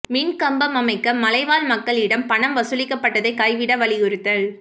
மின் கம்பம் அமைக்க மலைவாழ் மக்களிடம் பணம் வசூலிப்பதை கைவிட வலியுறுத்தல்